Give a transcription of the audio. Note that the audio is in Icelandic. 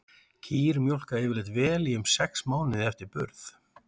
Kýr mjólka yfirleitt vel í um sex mánuði eftir burð.